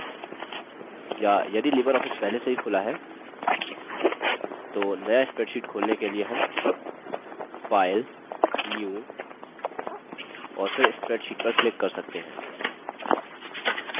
या यदि libreoffice पहले से ही खुला है तो new spreadsheet खोलने के लिए हम file new और फिर spreadsheet पर click कर सकते हैं